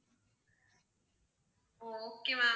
okay ma'am.